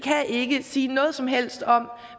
ikke kan sige noget som helst om